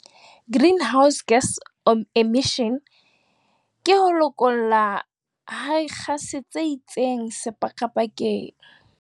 Greenhouse gas emission ke ho lokollwa ha dikgase tse itseng sepakapakeng.